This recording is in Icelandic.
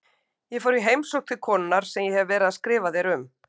Ég fór í heimsókn til konunnar sem ég hef verið að skrifa þér um.